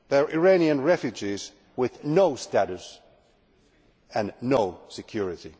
Iranian refugees with no status and no security.